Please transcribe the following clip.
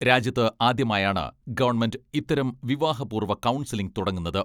രാജ്യത്ത് ആദ്യമായാണ് ഗവണ്മെന്റ് ഇത്തരം വിവാഹപൂർവ്വ കൗൺസിലിംഗ് തുടങ്ങുന്നത്.